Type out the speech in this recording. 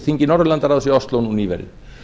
þingi norðurlandaráðs í ósló nú nýverið